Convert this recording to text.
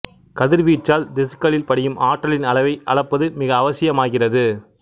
கதிர் வீச்சால் திசுக்களில் படியும் ஆற்றலின் அளவை அளப்பது மிக அவசியமாகிறது